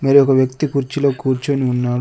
మరి ఒక వ్యక్తి కుర్చీలో కూర్చొని ఉన్నాడు.